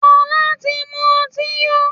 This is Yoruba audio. Fola tí mú ọtí yó.